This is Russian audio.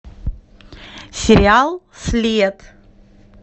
сериал след